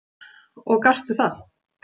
Og gastu það?